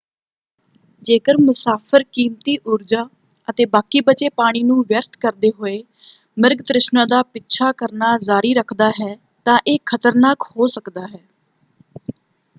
ਜੇਕਰ ਮੁਸਾਫ਼ਰ ਕੀਮਤੀ ਊਰਜਾ ਅਤੇ ਬਾਕੀ ਬਚੇ ਪਾਣੀ ਨੂੰ ਵਿਅਰਥ ਕਰਦੇ ਹੋਏ ਮਿਰਗ ਤ੍ਰਿਸ਼ਨਾ ਦਾ ਪਿੱਛਾ ਕਰਨਾ ਜਾਰੀ ਰੱਖਦਾ ਹੈ ਤਾਂ ਇਹ ਖਤਰਨਾਕ ਹੋ ਸਕਦਾ ਹੈ।